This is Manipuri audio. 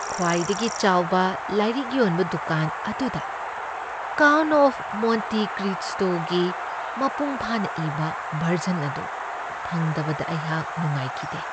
ꯈꯋꯥꯏꯗꯒꯤ ꯆꯥꯎꯕ ꯂꯥꯏꯔꯤꯛ ꯌꯣꯟꯕ ꯗꯨꯀꯥꯟ ꯑꯗꯨꯗ "ꯀꯥꯎꯟꯠ ꯑꯣꯐ ꯃꯣꯟꯇꯤ ꯀ꯭ꯔꯤꯁꯇꯣ"ꯒꯤ ꯃꯄꯨꯡ ꯐꯥꯅ ꯏꯕ ꯕꯔꯖꯟ ꯑꯗꯨ ꯐꯪꯗꯕꯗ ꯑꯩꯍꯥꯛ ꯅꯨꯡꯉꯥꯏꯈꯤꯗꯦ ꯫